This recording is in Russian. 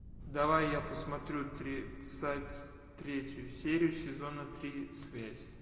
давай я посмотрю тридцать третью серию сезона три связь